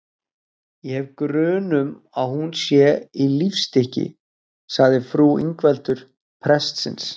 Ég hef grun um að hún sé í lífstykki, sagði frú Ingveldur prestsins.